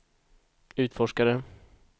utforskare